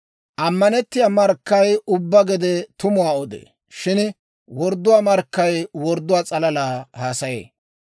Ammanettiyaa markkay ubbaa gede tumuwaa odee; shin wordduwaa markkay wordduwaa s'alala haasayee.